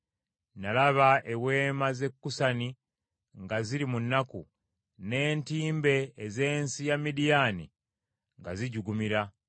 Nalaba eweema z’e Kusani nga ziri mu nnaku: n’entimbe ez’ensi ya Midiyaani nga zijugumira.